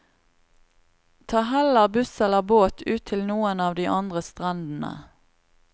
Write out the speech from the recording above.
Ta heller buss eller båt ut til noen av de andre strendene.